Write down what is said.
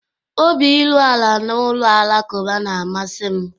Obi iru ala na ụlọ alakụba na-amasị m